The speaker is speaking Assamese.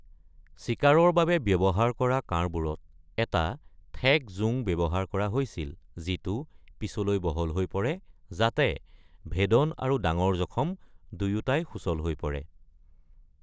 চিকাৰৰ বাবে ব্যৱহাৰ কৰা কাঁড়বোৰত এটা ঠেক জোং ব্যৱহাৰ কৰা হৈছিল যিটো পিছলৈ বহল হৈ পৰে, যাতে ভেদন আৰু ডাঙৰ জখম দুয়োটাই সুচল হৈ পৰে।